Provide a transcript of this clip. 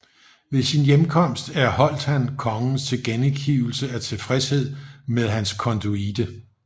Ved sin hjemkomst erholdt han kongens tilkendegivelse af tilfredshed med hans konduite